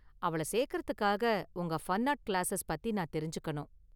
அவள சேர்க்கிறதுக்காக​ உங்க​ ஃபன்ஆர்ட் கிளாஸஸ் பத்தி நான் தெரிஞ்சுக்கணும்.